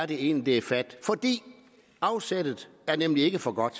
det egentlig er fat afsættet er nemlig ikke for godt